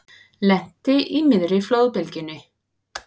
Lenti í miðri flóðbylgjunni